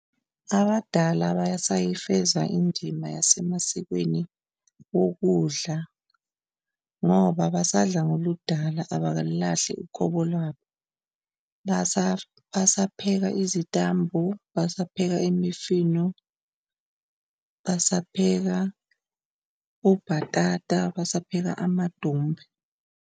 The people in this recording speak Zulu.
Abadala basayifeza indima yasemasikweni wokudla ngoba basadla ngoludala abakalulahli uqobo labo. Basapheka izitambu, basaphela imifino, basapheka obhatata, basapheka amadumbe.